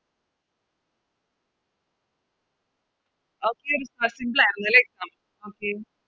Okay ല്ലെ Okay